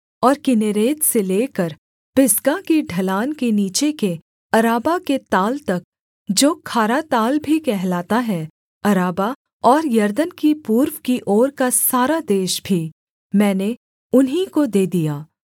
और किन्नेरेत से लेकर पिसगा की ढलान के नीचे के अराबा के ताल तक जो खारा ताल भी कहलाता है अराबा और यरदन की पूर्व की ओर का सारा देश भी मैंने उन्हीं को दे दिया